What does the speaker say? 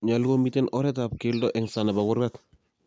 nyolu komiten oretab keldo en sang nebo kurgat